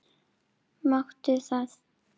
Máttu það?